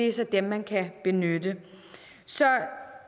er så dem man kan benytte så